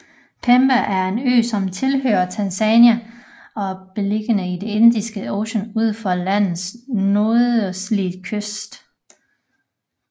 Pemba er en ø som tilhører Tanzania og er beliggende i det Indiske Ocean ud for landets nordøstlige kyst